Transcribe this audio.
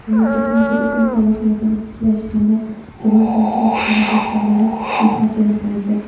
mamlakatning turizm salohiyatini tiklash hamda rivojlantirish chora-tadbirlari muhokama qilindi.